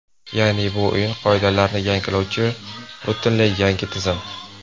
Ya’ni, bu o‘yin qoidalarini yangilovchi, butunlay yangi tizim.